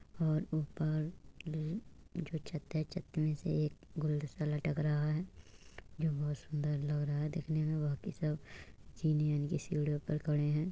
और ऊपर ऊपर जो छत है छत में से एक गुलदस्ता लटक रहा है जो बोहोत सुन्दर लग रहा है दिखने में बाकी सब जीने यानि की सीढ़ियों पे खड़े हैं।